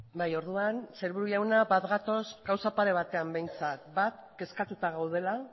bai orduan aburto jauna bat gatoz gauza pare batean behintzat bat kezkatuta gaudela